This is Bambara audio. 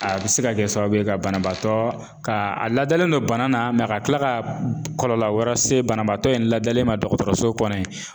A bɛ se ka kɛ sababu ye ka banabaatɔ ka a ladalen don bana na ka kila ka kɔlɔlɔ wɛrɛ se banabaatɔ in ladalen ma dɔgɔtɔrɔso kɔnɔ yen.